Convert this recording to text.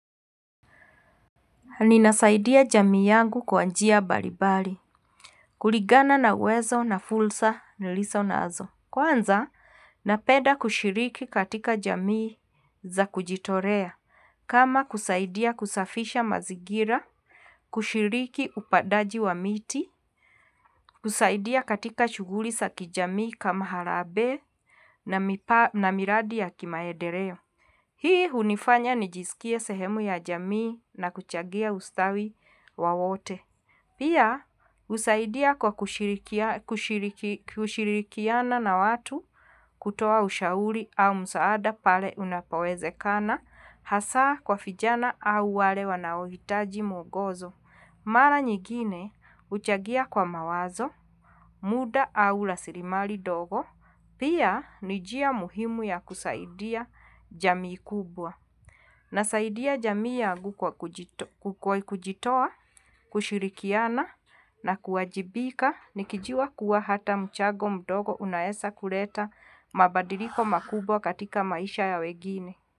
Ninasaidia jamii yangu kwa njia mbalimbali. Kulingana na uwezo na fursa nilizo nazo. Kwanza, napenda kushiriki katika jamii za kujitolea. Kama kusaidia kusafisha mazingira, kushiriki upandaji wa miti, kusaidia katika shughuli za kijamii kama harambee na miradi ya kimaendeleo. Hii hunifanya nijisikie sehemu ya jamii na kuchangia ustawi wa wote. Pia, usaidia kwa kushirikiana na watu kutoa ushauri au msaada pale unapowezekana, hasa kwa vijana au wale wanaohitaji mwongozo. Mara nyingine, huchangia kwa mawazo, muda au rasilimali ndogo, pia ni njia muhimu ya kusaidia jamii kubwa. Nasaidia jamii yangu kwa kujitoa, kushirikiana na kuajibika nikijua kuwa hata mchango mdogo unaeza kuleta mabadiliko makubwa katika maisha ya wengine.